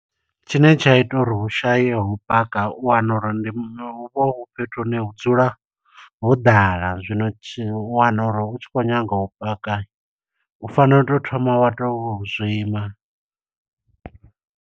Tshine tsha ita uri hu shaye ho u paka, u wana uri ndi hu vha hu fhethu hune hu dzula ho ḓala. Zwino tshi u wana uri u tshi khou nyanga u paka. U fanela u to thoma wa to u zwima.